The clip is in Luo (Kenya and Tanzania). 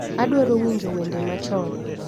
Adwaro winjo wende machon